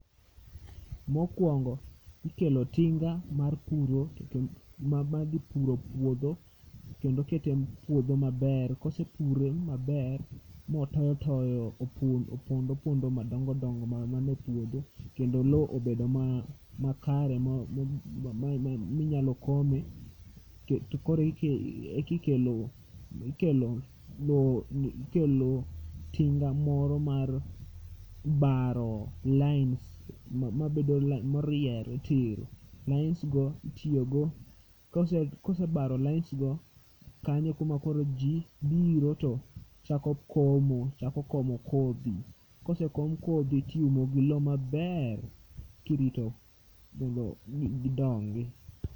Mokwongo, ikelo tinga mar puro to kend, ma dhi puro puodho. Kendo ketem puodho maber, kosepure mabermotoyo toyo opondo pondo madongo dongo ma mane puodho. Kendo lo obedo ma, makare ma minyalo kome, tokoro ike ekikelo ikelo lo ikelo tinga moro mar baro lain mabedo lai, moriere tir. Lains go itiyogo, kosebaro lains go, kanyo e kuma koro ji biro to chako komo. Chako komo kodhi, kosekom kodhi tiumo gi lo maber kirito mondo gidongi.